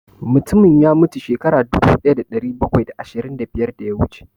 Mutumin ya mutu shekaru dubu ɗaya da ɗari bakwai da ashirin da biyar da ya wuce